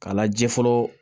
K'a laje fɔlɔ